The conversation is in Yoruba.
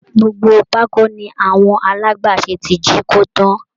Gbogbo pákó ni àwọn alágbàṣe ti jíkó tán